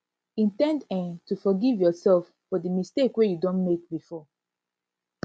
in ten d um to forgive yourself for di mistake wey you don make before